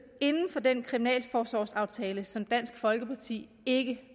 inden for den kriminalforsorgsaftale som dansk folkeparti ikke